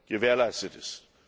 gewährleistet ist.